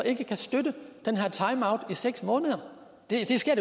ikke kan støtte den her timeout på seks måneder det sker